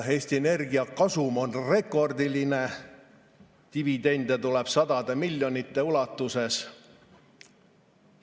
Eesti Energia kasum on rekordiline, dividende tuleb sadade miljonite ulatuses.